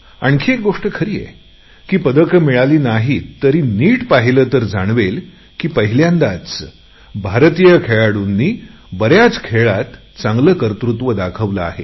आणखी एक गोष्ट खरी आहे की पदके मिळाली नाहीत तरी नीट पाहिले तर जाणवेल की पहिल्यांदाच भारतीय खेळाडूंनी बऱ्याच खेळात काहीसे चांगले कर्तृत्व दाखवले आहे